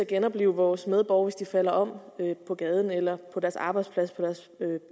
genoplive vores medborgere hvis de falder om på gaden eller på deres arbejdsplads eller